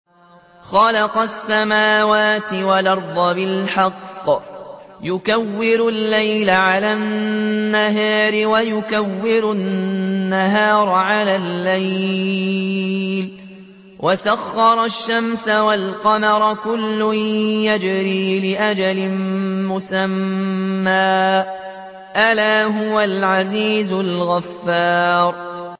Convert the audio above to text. خَلَقَ السَّمَاوَاتِ وَالْأَرْضَ بِالْحَقِّ ۖ يُكَوِّرُ اللَّيْلَ عَلَى النَّهَارِ وَيُكَوِّرُ النَّهَارَ عَلَى اللَّيْلِ ۖ وَسَخَّرَ الشَّمْسَ وَالْقَمَرَ ۖ كُلٌّ يَجْرِي لِأَجَلٍ مُّسَمًّى ۗ أَلَا هُوَ الْعَزِيزُ الْغَفَّارُ